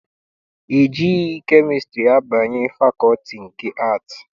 E jighị kemịstrị abanye fakọlti nke Aatị.